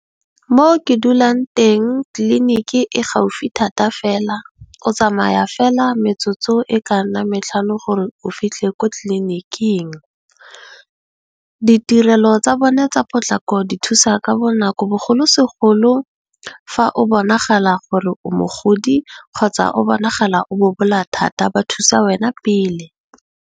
Mo ke dulang teng tliliniki e gaufi thata fela o tsamaya fela metsotso e ka nnang matlhano gore o fitlhe ko tlliniking. Di tirelo tsa bone tsa potlako di thusa ka bonako bogolosegolo fa o bonagala gore o mogodi kgotsa o bonagala o bobola thata ba thusa wena pele.